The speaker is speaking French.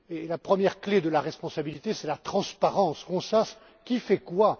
La première clé de la responsabilité, c'est la transparence qu'on sache qui fait quoi.